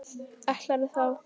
Ætlarðu þá.?